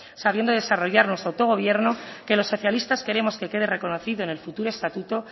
sabiendo desarrollar nuestro autogobierno que los socialistas queremos que quede reconocido en el futuro estatuto